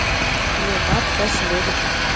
Ég var þess virði.